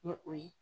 Ni o ye